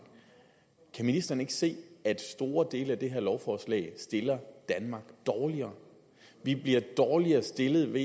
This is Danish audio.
kan ministeren ikke se at store dele af det her lovforslag stiller dem dårligere vi bliver dårligere stillet med